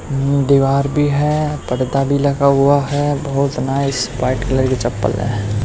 दीवार भी है पडदा भी लगा हुआ है बहोत नाईस वाइट कलर की चप्पल है।